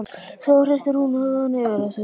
Svo hristir hún höfuðið yfir þessu.